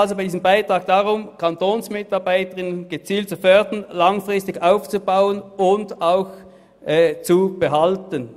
Bei diesem Beitrag geht es also darum, Kantonsmitarbeitende gezielt zu fördern, langfristig aufzubauen und auch zu behalten.